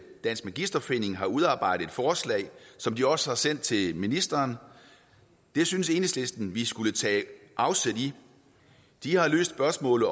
dansk magisterforening har udarbejdet et forslag som de også har sendt til ministeren og det synes enhedslisten vi skulle tage afsæt i de har løst spørgsmålet